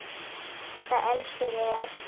Það elskuðu þig allir.